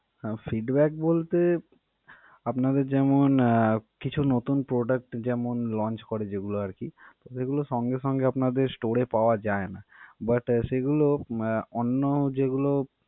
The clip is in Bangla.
আহ feedback বলতে আপনাদের যেমন আহ কিছু নতুন product যেমন launch করে যেগুলো আরকি সেগুলো সঙ্গে সঙ্গে আপনাদের store এ পাওয়া যায়না. but সেগুলো উম অন্য যেগুলো।